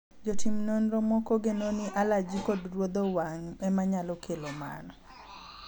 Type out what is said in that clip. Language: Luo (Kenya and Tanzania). jotim nonro moko geno ni alaji kod rudho wang' ema nyalo kelo mano